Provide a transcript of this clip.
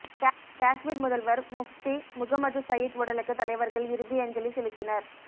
காஷ்மீர் முதல்வர் முஃப்தி முகம்மது சயீத் உடலுக்கு தலைவர்கள் இறுதி அஞ்சலி செலுத்தினர்